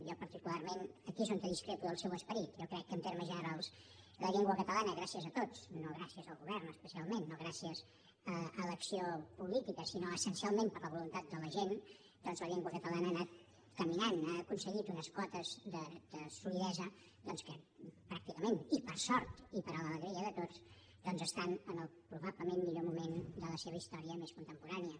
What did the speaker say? jo particularment aquí és on discrepo del seu esperit jo crec que en termes generals la llengua catalana gràcies a tots no gràcies al govern especialment no gràcies a l’acció política sinó essencialment per la voluntat de la gent la llengua catalana ha anat caminant ha aconseguit unes quotes de solidesa que pràcticament i per sort i per a l’alegria de tots estan en el probablement millor moment de la seva història més contemporània